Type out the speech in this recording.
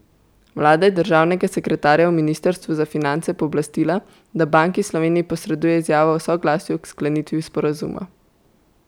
Vlada je državnega sekretarja v ministrstvu za finance pooblastila, da Banki Slovenije posreduje izjavo o soglasju k sklenitvi sporazuma.